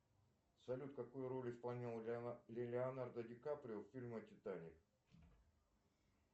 салют какую роль исполнял леонардо ди каприо в фильме титаник